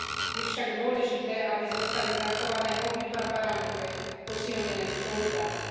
Je však dôležité, aby zostali zachované obidva parametre posilnenej spolupráce.